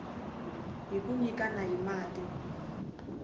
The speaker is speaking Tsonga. hi ku nyikana hi mati